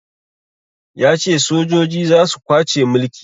Ya ce sojoji za su kwace mulki